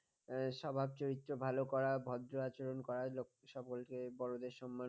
স্বভাব চরিত্র ভালো করা ভদ্র আচরণ করা সকলকে বড়দের সম্মান